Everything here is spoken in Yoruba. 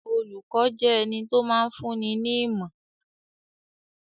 Olùkọ́ jẹ́ ẹni tó máa ń fúnni ní ìmọ̀.